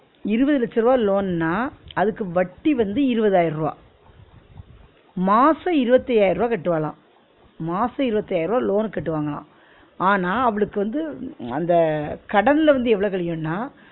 இருவது லட்ச ருவா loan ன்னா அதுக்கு வட்டி வந்து இருவதாயிர ருவா மாசம் இருவத்தி ஐயாயிரம் கட்டுவாளாம் மாசம் இருவத்தி ஐயாயிரம் loan க்கு கட்டுவாங்கலாம் ஆனா அவுளுக்கு வந்து அந்த கடன்ல வந்து எவ்ளோ கழியும்னா